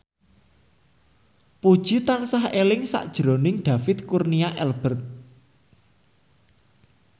Puji tansah eling sakjroning David Kurnia Albert